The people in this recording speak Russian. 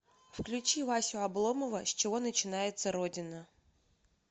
включи васю обломова с чего начинается родина